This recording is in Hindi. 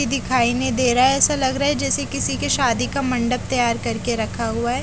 की दिखाई नहीं दे रहा है ऐसा लग रहा है जैसे किसी की शादी का मंडप तैयार कर के रखा हुआ है।